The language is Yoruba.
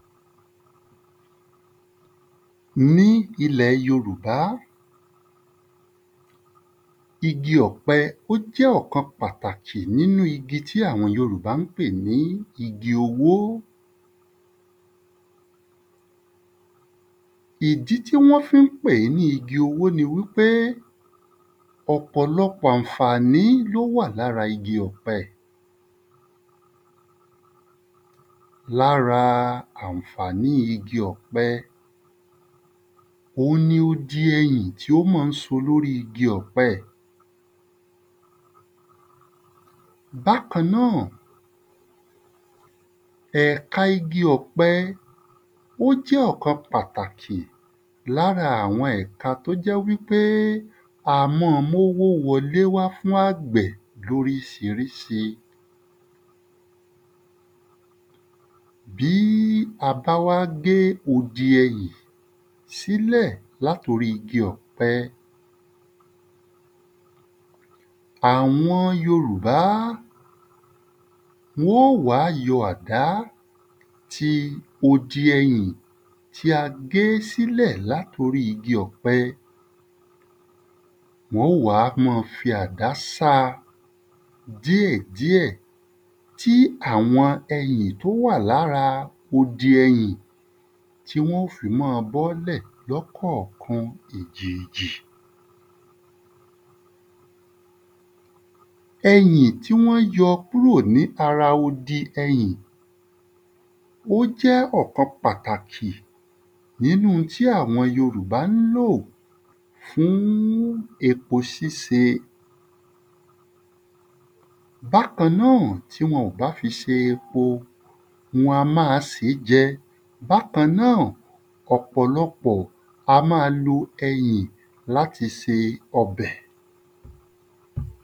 Ní ilẹ̀ yorùbá igi ọ̀pẹ ó jẹ́ ọ̀kan pàtàkì nínú igi tí àwọn yòrúbá ń pè ní igi owó. Ìdí tí wọ́n fí ń pèé ní igi owó ni wí pé ọ̀pọ̀lọpọ̀ l’ó wà l’ára igi ọ̀pẹ. L’ára àǹfàní igi ọ̀pẹ, òun ni odi ẹyìn tí ó mọ̀ ń so l’órí igi ọ̀pẹ. Bákan náà, ẹ̀ka igi ọ̀pẹ ó jẹ́ ọ̀kan pàtàkì l’ára àwọn ẹ̀ka t’ó jẹ́ wí pé a mọ́ ọ m’owó wọlé fún àgbẹ̀ l’órísirísi. Bí a bá wá gé odi ẹyìn sílẹ̀ l’at’orí igi ọ̀pẹ, àwọn yorùbá wọ́n ó wá yọ àdá ti odi ẹyìn tí a gé sílẹ̀ l’at’orí igi ọ̀pẹ. Wọ́n ó wá mọ fi àdá sa díẹ̀ díẹ̀ tí àwọn ẹyìn t’ó wà l’ára odi ẹyìn tí wọ́n ó fi mọ́ ọ bọ́lẹ̀ lọ́kọ̀kan èjèèjì. Ẹyìn tí wọ́n yọ kúrò l’ára odi ẹyìn ó jẹ́ ọ̀kan pàtàkì nínú un tí àwọn yòrúbá ń lò fún epo síse Bákan náà, tí wọn ò bá fi se epo, wọn a máa sèé jẹ Bákan náà, ọ̀pọlọpọ̀ wọn a má a lo ẹyìn l’áti se ọbẹ̀.